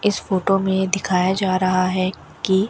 इस फोटो में दिखाया जा रहा है कि--